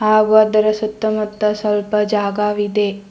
ಹಾಗು ಅದರ ಸುತ್ತಮುತ್ತ ಸ್ವಲ್ಪ ಜಾಗಾವಿದೆ.